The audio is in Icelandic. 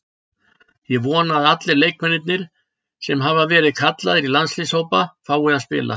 Ég vona að allir leikmennirnir sem hafa verið kallaðir í landsliðshópa fái að spila.